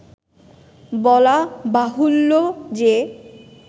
বলা বাহুল্য যে